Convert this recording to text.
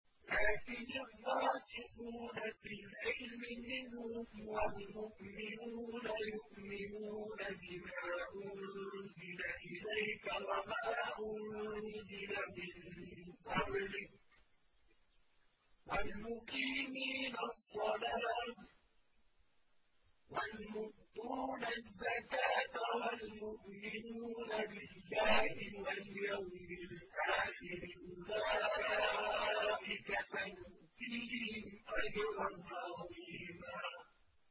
لَّٰكِنِ الرَّاسِخُونَ فِي الْعِلْمِ مِنْهُمْ وَالْمُؤْمِنُونَ يُؤْمِنُونَ بِمَا أُنزِلَ إِلَيْكَ وَمَا أُنزِلَ مِن قَبْلِكَ ۚ وَالْمُقِيمِينَ الصَّلَاةَ ۚ وَالْمُؤْتُونَ الزَّكَاةَ وَالْمُؤْمِنُونَ بِاللَّهِ وَالْيَوْمِ الْآخِرِ أُولَٰئِكَ سَنُؤْتِيهِمْ أَجْرًا عَظِيمًا